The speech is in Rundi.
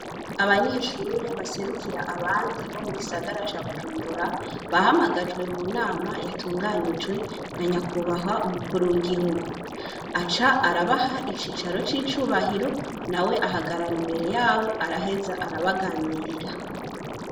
Abanyeshuri baserukira abandi bo mu gisagara ca bujumbura bahamagajwe mu nama yatunganijwe na nyakubahwa umukuru w'igihugu, aca arabaha icicaro cicubahiro nawe ahagarara imbere yabo arehaza arabaganirira.